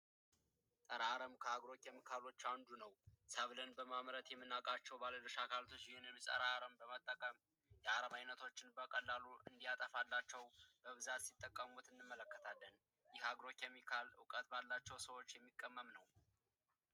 ፀረ አረም ከአግሮ ኬሚካሎች አንዱ ነው ሰብልን በማምረት የምናውቃቸው ባለድርሻ አካላት ይህንን በመጠቀም ለአረም በቀላሉ እንዲያጠፋላቸው ሲጠቀሙበት እንመለከታለን ይህም አግሮ ኬሚካል እውቀት ባላቸው ሰዎች የሚቀመም ነው።